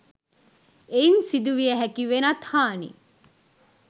එයින් සිදුවිය හැකි වෙනත් හානි